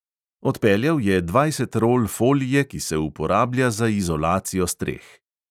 Odpeljal je dvajset rol folije, ki se uporablja za izolacijo streh.